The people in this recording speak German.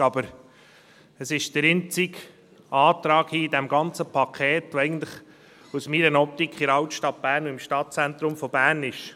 Aber es ist der einzige Antrag in diesem ganzen Paket, der aus meiner Optik in der Altstadt von Bern und im Stadtzentrum von Bern ist.